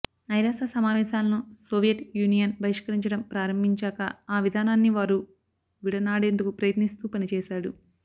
ఐరాస సమావేశాలను Soviet union బహిష్కరించడం ప్రారంభించాకా ఆ విధానాన్ని వారు విడనాడేందుకు ప్రయత్నిస్తూ పనిచేశాడు